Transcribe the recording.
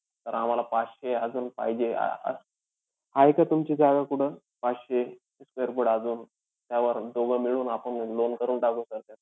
Sir आम्हाला पाचशे अजून पाहिजे. अं आहे का तुमची जागा कुठं? पाचशे square foot अजून त्यावर दोघं मिळून आपण loan करून टाकू sir त्याचं.